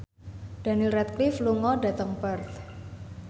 Daniel Radcliffe lunga dhateng Perth